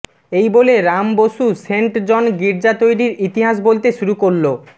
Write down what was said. এই বলে Ram Basu saint John গির্জা তৈরির ইতিহাস বলতে শুরু করল